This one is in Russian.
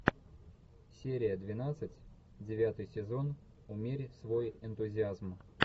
серия двенадцать девятый сезон умерить свой энтузиазм